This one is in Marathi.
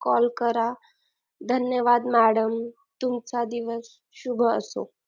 call करा धन्यवाद madam तुमचा दिवस शुभ असो